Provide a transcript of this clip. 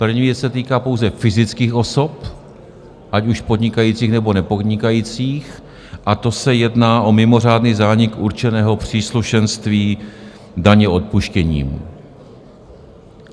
První věc se týká pouze fyzických osob, ať už podnikajících, nebo nepodnikajících, a to se jedná o mimořádný zánik určeného příslušenství daně odpuštěním.